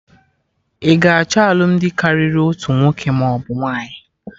Ị ga achọ alụmdi karịrị otu nwoke maọbụ nwaanyị?